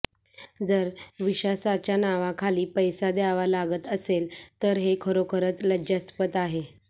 जर विेशासाच्या नावाखाली पैसा द्यावा लागत असेल तर हे खरोखरच लज्जास्पद आहे